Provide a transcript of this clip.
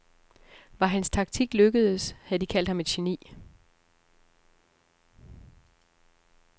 Var hans taktik lykkedes, havde de kaldt ham et geni.